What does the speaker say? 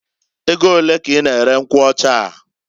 E go olee k'I na- ere nkwụ ọchaa?